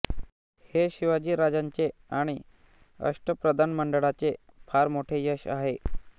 हे शिवाजीराजांचे आणि अष्टप्रधानमंडळाचे फार मोठे यश आहे